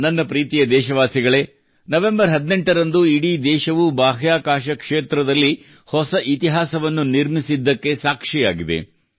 ನನ್ನ ಪ್ರೀತಿಯ ದೇಶವಾಸಿಗಳೇ ನವೆಂಬರ್ 18 ರಂದು ಇಡೀ ದೇಶವು ಬಾಹ್ಯಾಕಾಶ ಕ್ಷೇತ್ರದಲ್ಲಿ ಹೊಸ ಇತಿಹಾಸವನ್ನು ನಿರ್ಮಿಸಿದ್ದಕ್ಕೆ ಸಾಕ್ಷಿಯಾಗಿದೆ